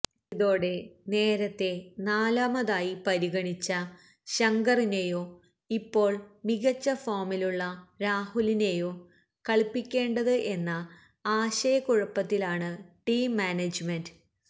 ഇതോടെ നേരത്തേ നാലാമായി പരിഗിണിച്ച ശങ്കറിനെയോ ഇപ്പോള് മികച്ച ഫോമിലുള്ള രാഹുലിനെയോ കളിപ്പിക്കേണ്ടത് എന്ന ആശയക്കുഴപ്പത്തിലാണ് ടീം മാനേജ്മെന്റ്